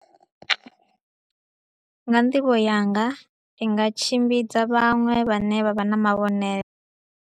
Nga nḓivho yanga i nga tshimbidza vhaṅwe vha ne vha vha na mavhengele.